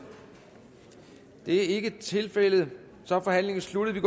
det er ikke tilfældet og så er forhandlingen sluttet